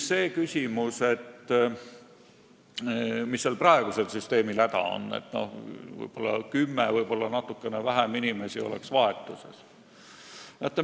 See küsimus, et mis siis praegusel süsteemil häda on, kui vaid kümme inimest või natukene vähem oleks võib-olla vahetuses.